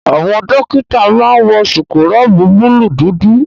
Àwọn dọ́kítà máa wọ síkúrọ̀bù búlùù dúdú.